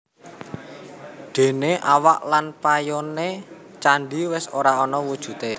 Déné awak lan payoné candhi wis ora ana wujudé